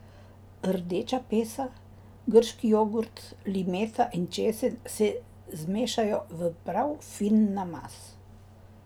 Rdeča pesa, grški jogurt, limeta in česen se zmešajo v prav fin namaz.